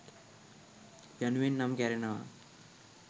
යනුවෙන් නම් කැරෙනවා